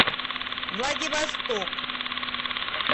владивосток